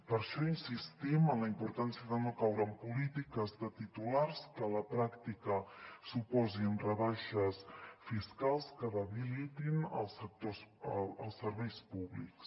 per això insistim en la importància de no caure en polítiques de titulars que a la pràctica suposin rebaixes fiscals que debilitin els serveis públics